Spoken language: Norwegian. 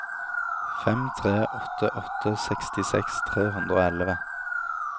fem tre åtte åtte sekstiseks tre hundre og elleve